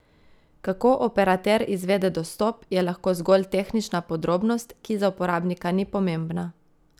Kako operater izvede dostop, je lahko zgolj tehnična podrobnost, ki za uporabnika ni pomembna.